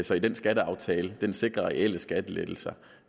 så den skatteaftale sikrer reelle skattelettelser